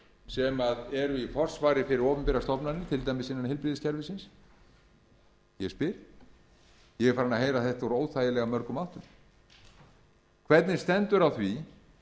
sem eru í forsvari fyrir opinberar stofnanir til dæmis innan heilbrigðiskerfisins ég spyr ég er farinn að heyra þetta úr óþægilega mörgum áttum hvernig stendur á því